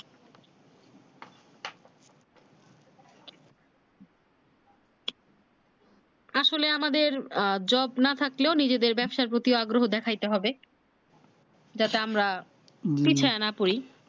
আসলে আমাদের jobe না থাকলেও নিজেদের ব্যবসার প্রতি আগ্রহ দেখাইতে হবে যাতে আমরা পিছাইয়া না পরি